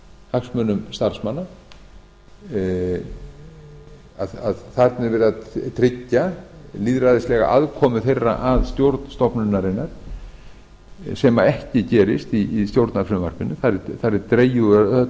hagsmunum starfsmanna þarna er verið að tryggja lýðræðislega aðkomu þeirra að stjórn stofnunarinnar sem ekki gerist í stjórnarfrumvarpinu þar er dregið úr öllu slíku